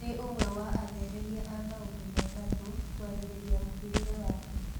Nĩ ũmwe wa atheremia a maũndũ me gatũ kwarĩrĩria mũhĩrĩga wake.